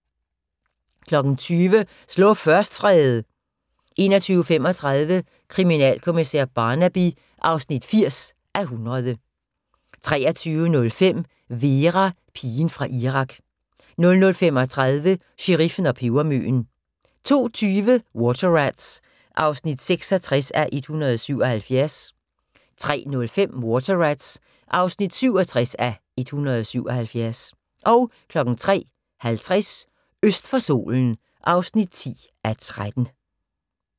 20:00: Slå først, Frede! 21:35: Kriminalkommissær Barnaby (80:100) 23:05: Vera: Pigen fra Irak 00:35: Sheriffen og pebermøen 02:20: Water Rats (66:177) 03:05: Water Rats (67:177) 03:50: Øst for solen (10:13)